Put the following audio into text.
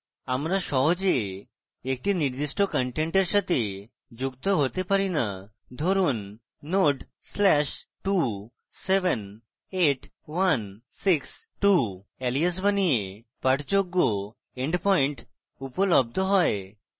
আমরা সহজে একটি নির্দিষ্ট content সাথে যুক্ত হতে পারি না ধরুন node/278162 alias বানিয়ে পাঠযোগ্য endpoint উপলব্ধ হয়